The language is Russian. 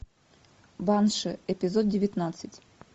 банши эпизод девятнадцать